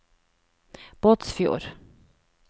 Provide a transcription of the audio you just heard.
Båtsfjord